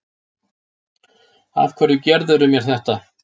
Af hverju gerðirðu mér þetta?